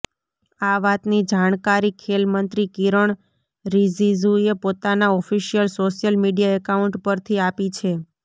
આ વાતની જાણકારી ખેલ મંત્રી કિરણ રિજિજૂએ પોતાના ઑફિશ્યલ સોશ્યલ મીડિયા એકાઉન્ટ પરથી આપી છે